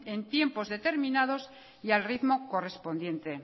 en tiempos determinados y al ritmo correspondiente